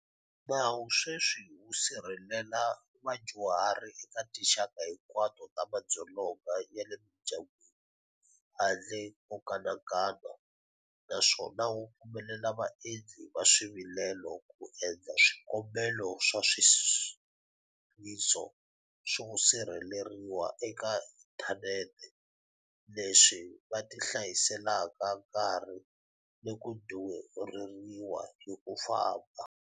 Nawu sweswi wu sirhelela vadyuhari eka tinxaka hinkwato ta madzolonga ya le mindyangwini handle ko kanakana, naswona wu pfumelela vaendli va swivilelo ku endla swikombelo swa swileriso swo sirheleriwa eka inthanete, leswi va hlayiselaka nkarhi ni ku durheriwa hi ku famba.